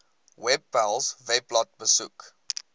webpals webblad besoek